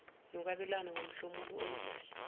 nokwabelana ngomhlomulo oyimali